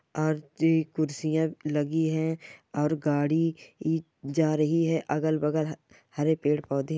और जी कुर्सियां लगी है और गाड़ी ई जा रही है अगल-बगल ह हरे पेड़-पौधे --